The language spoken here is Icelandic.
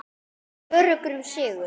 Hann er öruggur um sigur.